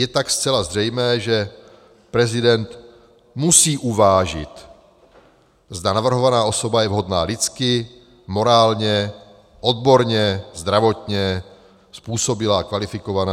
Je tak zcela zřejmé, že prezident musí uvážit, zda navrhovaná osoba je vhodná lidsky, morálně, odborně, zdravotně způsobilá, kvalifikovaná.